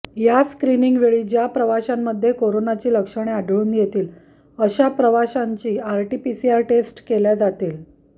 या स्क्रिनिंगवेळी ज्या प्रवाशांमध्ये कोरोनाची लक्षणे आढळून येतील अशा प्रवाशांची आरटीपीसीआर टेस्ट केल्या जातील